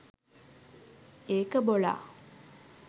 ඒක බොලා.